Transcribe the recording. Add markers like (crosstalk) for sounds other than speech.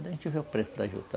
(unintelligible) A gente vê o preço da juta.